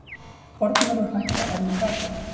Kornvörur hækka enn í verði